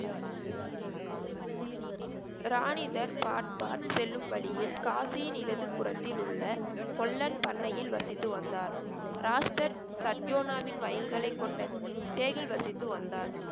ராணிதர் பாட் பாட் செல்லும் வழியில் காசியின் இடது புறத்தில் உள்ள கொல்லன் பண்ணையில் வசித்து வந்தார். ராஷ்தர் சத்யோனாவின் வயல்கலைக்கொண்ட தேகில் வசித்து வந்தார்